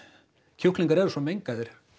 kjúklingar eru svo mengaðir